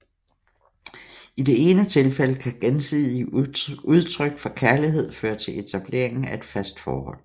I det ene tilfælde kan gensidige udtryk for kærlighed føre til etableringen af et fast forhold